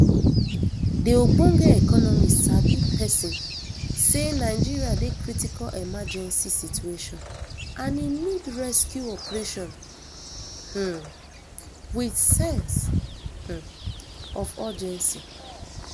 di ogbonge economy sabi pesin say nigeria dey critical emergency situation and e need rescue operation um wit sense um of urgency